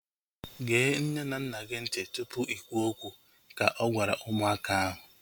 Gee nne na nna gị ntị tụpụ i kwuo okwu! Ka ọ gwara ụmụaka ahu